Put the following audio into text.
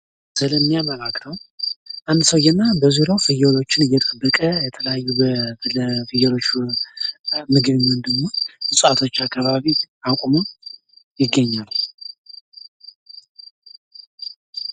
እንደሚያመላክተው አንድ ሰውዬና በዙርያው ፍዬሎችን እየጠበቀ በተለያዩ ለፍዬሎች የሚሆን እፅዋቶች አካባቢ አቁሞ ይገኛል።